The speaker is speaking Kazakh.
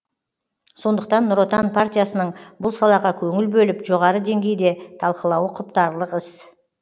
сондықтан нұр отан партиясының бұл салаға көңіл бөліп жоғары деңгейде талқылауы құптарлық іс